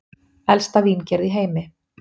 Elsta víngerð í heimi